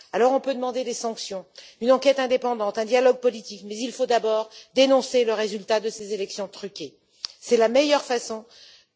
Alors on peut demander des sanctions, une enquête indépendante, un dialogue politique, mais il faut d'abord dénoncer le résultat de ces élections truquées, c'est la meilleure façon de procéder.